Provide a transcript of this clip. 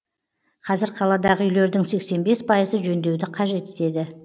қазір қаладағы үйлердің сексен бес пайызы жөндеуді қажет етеді